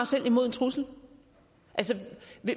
selv imod en trussel altså